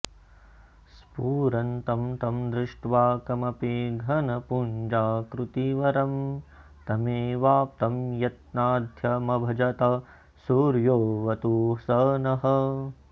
स्फुरन्तं तं दृष्ट्वा कमपि घनपुञ्जाकृतिवरं तमेवाप्तं यत्नाद्यमभजत सूर्योऽवतु स नः